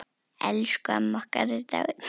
Elsku amma okkar er dáin.